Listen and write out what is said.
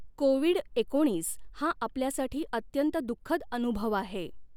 Covid nineteen हा आपल्यासाठी अत्यंत दुख्खद अनुभव आहे.